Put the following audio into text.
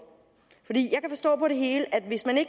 for det hele